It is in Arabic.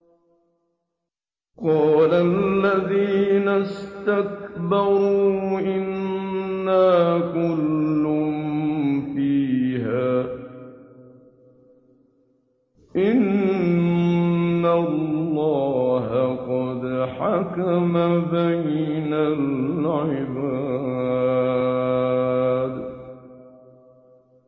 قَالَ الَّذِينَ اسْتَكْبَرُوا إِنَّا كُلٌّ فِيهَا إِنَّ اللَّهَ قَدْ حَكَمَ بَيْنَ الْعِبَادِ